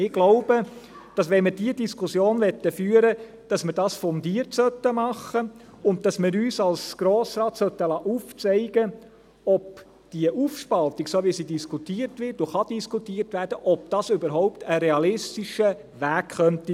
Ich glaube, dass wenn wir diese Diskussion führen wollten, wir dies fundiert machen und uns als Grosser Rat aufzeigen lassen sollten, ob die Aufspaltung – so wie sie diskutiert wird und diskutiert werden kann – überhaupt ein realistischer Weg sein könnte.